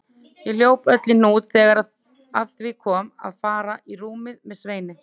Ég hljóp öll í hnút þegar að því kom að fara í rúmið með Sveini.